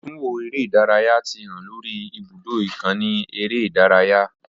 Atunwo ere idaraya ti han lori ibudo ikanni ere idaraya.